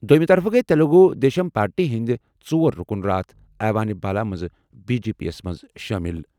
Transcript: دوٚیمہِ طرفہٕ گٔیہِ تیلگو دیشم پارٹی ہٕنٛدۍ ژور رُکُن راتھ ایوان بالا منٛز بی جے پی یَس منٛز شٲمِل۔